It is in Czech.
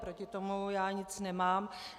Proti tomu já nic nemám.